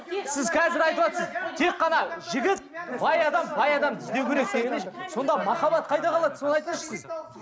сіз қазір айтыватсыз тек қана жігіт бай адам бай адамды іздеу керек сонда махаббат қайда қалады соны айтыңызшы сіз